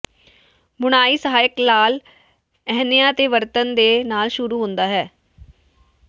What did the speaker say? ਬੁਣਾਈ ਸਹਾਇਕ ਲਾਲ ਇਹਨਆ ਦੇ ਵਰਤਣ ਦੇ ਨਾਲ ਸ਼ੁਰੂ ਹੁੰਦਾ ਹੈ